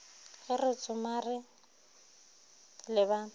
ge re tsomare le ba